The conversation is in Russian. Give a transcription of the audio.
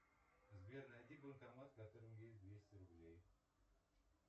сбер найди банкомат в котором есть двести рублей